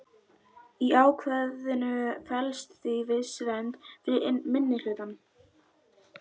Í ákvæðinu felst því viss vernd fyrir minnihlutann.